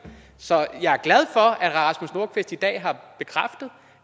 så jeg er glad for at herre rasmus nordqvist i dag har bekræftet